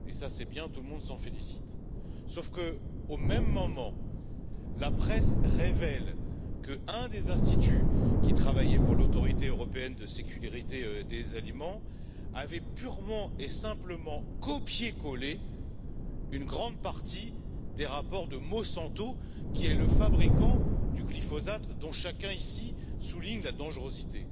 C'est bien, et tout le monde s'en félicite, sauf qu'au même moment, la presse révèle que l'un des instituts qui travaillaient pour l'Autorité européenne de sécurité des aliments avait purement et simplement copié collé une grande partie des rapports de Monsanto, qui est le fabricant du glyphosate, dont chacun ici souligne la dangerosité.